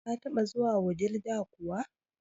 Ka taba zuwa Wudil da kuwa?